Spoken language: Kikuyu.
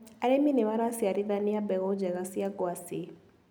Arĩmi nĩmaraciarithania mbegũ njega cia ngwacĩ.